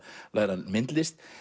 læra myndlist